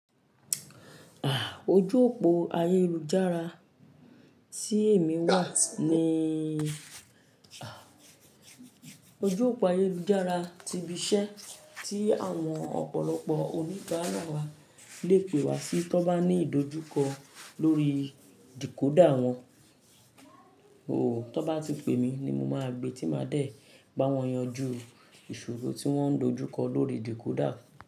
Ah! Ojú òpó ayélujára tí èmi wà níí, ojú òpó ayélujára ti ibi iṣẹ́ tí àwọn ọ̀pọ̀lọpọ̀ oníbaara wa le pè wá sí tó bá ní ìdojúkọ lórí decoder wọn. O, tó bá ti pè mí ni mo máa gbe tí máa dẹ̀ ba wọn yanjú ìṣòro tí wọ́n ń dojúkọ lórí decoder.